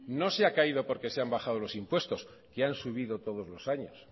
no se ha caído porque se han bajado los impuestos que han subido todos los años